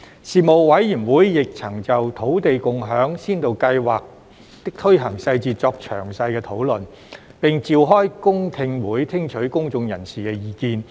事務委員會亦曾就土地共享先導計劃的推行細節作詳細討論，並召開公聽會聽取公眾人士意見。